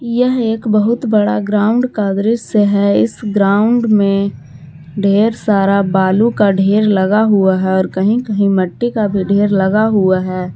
यह एक बहुत बड़ा ग्राउंड का दृश्य है इस ग्राउंड में ढेर सारा बालू का ढेर लगा हुआ है और कहीं कहीं मिट्टी का भी ढेर लगा हुआ है।